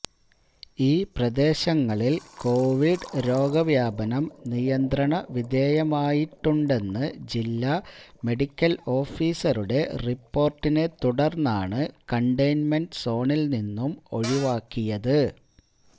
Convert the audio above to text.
ഈ പ്രദേശങ്ങളില് കൊവിഡ് രോഗവ്യാപനം നിയന്ത്രണവിധേയമായിട്ടുണ്ടെന്ന് ജില്ല മെഡിക്കല് ഓഫീസറുടെ റിപോര്ട്ടിനെ തുടര്ന്നാണ് കണ്ടെയ്ന്മെന്റ് സോണില് നിന്നും ഒഴിവാക്കിയത്